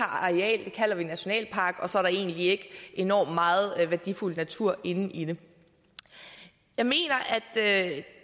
areal kalder vi nationalpark og så er der egentlig ikke enormt meget værdifuld natur inde i den jeg mener at